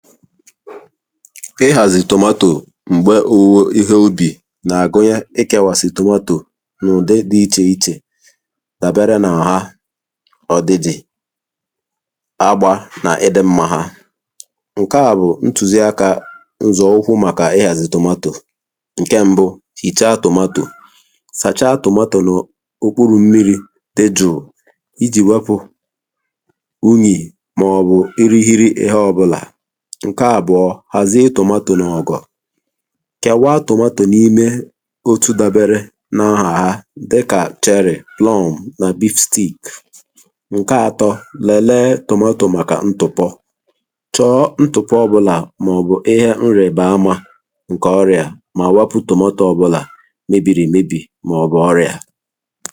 ịhàzị̀ tòmatò m̀gbe ūwē ihe ubì nà-àgụyẹ ịkẹ̄wàsị̀ tòmatò n’ụ̀di dị̄ ichè ichè dàbere n’ọ̀ha ọ̀dị̀dị̀ agba nà ịdị̄m̄mā hà ǹke à bụ̀ ntùzi akā ǹzọ̀ ụkụ màkà ịhàzị̀ tòmatò ǹke m̄bụ̄ hìcha tòmatò sàcha tòmatò n'òkpurù mmirī dejụ̀ụ̀ ijì wepụ̄ unyì màọ̀bụ̀ irihiri ihe ọ̄bụ̄là ǹke àbụ̀ọ hàzie tòmatò n’ọ̀gọ̀ kèwa tòmatò n’ime otu dābērē n’ọhàha dịkà cherry, plum, nà beef stik ǹke ātọ̄ lẹ̀lẹ tòmatò màkà ntụ̀pọ chọ̀ọ ntụ̀pọ ọbụ̄là màọ̀bụ̀ ihe nrèbe amā ǹkè ọrịà mà wapū tòmatō ọ̄bụ̄là mebìrì èmebì màọ̀bụ̀ ọrịà